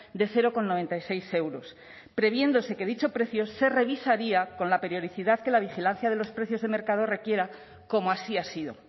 de cero coma noventa y seis euros previéndose que dicho precio se revisaría con la periodicidad que la vigilancia de los precios de mercado requiera como así ha sido